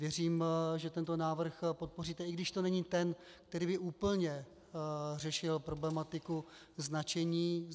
Věřím, že tento návrh podpoříte, i když to není ten, který by úplně řešil problematiku značení psů.